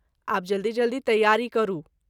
आब जल्दी जल्दी तैयारी करू।